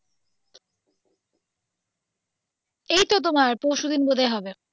এইতো তোমার পরশু দিন বোধ হয় হবে.